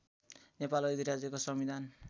नेपाल अधिराज्यको संविधान